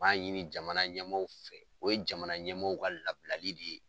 b'a ɲini jamana ɲɛmaaw fɛ o ye jamana ɲɛmaaw ka labilali de ye.